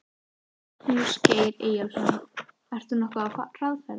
Magnús Geir Eyjólfsson: Ert þú nokkuð á hraðferð?